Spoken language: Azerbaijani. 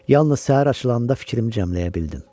Yalnız səhər açılanda fikrimi cəmləyə bildim.